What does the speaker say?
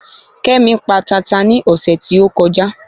Kémi pa tata ní ọ̀sẹ̀ tí ó kọjá